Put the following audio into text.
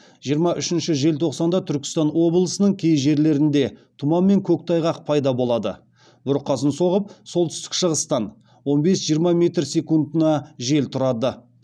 жиырма үшінші желтоқсанда түркістан облысының кей жерлерінде тұман мен көктайғақ пайда болады бұрқасын соғып солтүстік шығыстан он бес жиырма метр секундына жел тұрады